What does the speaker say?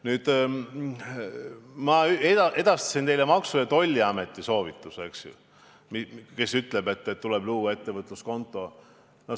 Nüüd, ma edastasin teile Maksu- ja Tolliameti soovituse, et tuleb luua ettevõtluskonto.